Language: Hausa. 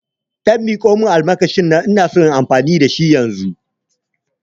Ɗan miƙamun almakashin nan ina son amfani da shi yanzu